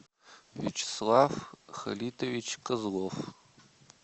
вячеслав халитович козлов